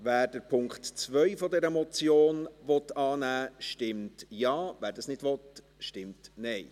Wer den Punkt 2 dieser Motion annehmen will, stimmt Ja, wer dies nicht will, stimmt Nein.